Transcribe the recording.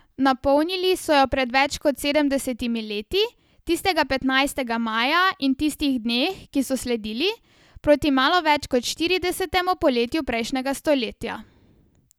Napolnili so jo pred več kot sedemdesetimi leti, tistega petnajstega maja in v tistih dneh, ki so sledili, proti malo več kot štiridesetemu poletju prejšnjega stoletja.